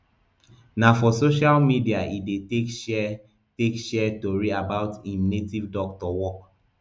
na for social media e dey take share take share tori about im native doctor work